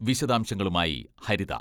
വിശദാംശങ്ങളുമായി ഹരിത.